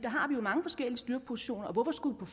har mange forskellige styrkepositioner og hvorfor skulle